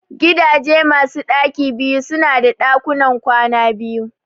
Gidaje masu ɗaki biyu su na da ɗakuna kwana biyu